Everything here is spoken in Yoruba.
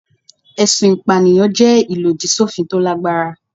Ẹ̀sùn ìpànìyàn jẹ́ ìlòdì sófin tó lágbára.